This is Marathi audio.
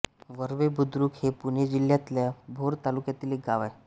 वरवे बुद्रुक हे पुणे जिल्ह्यातल्या भोर तालुक्यातील गाव आहे